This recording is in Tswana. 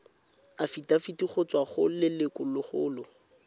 afitafiti go tswa go lelokolegolo